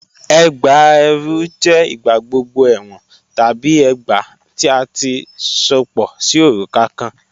Ẹgbá ẹrú jẹ igbàgbọ̀gbọ̀ ẹwọn tabi ẹgbá tí a ti sopọ sí orúkà̀ kàn.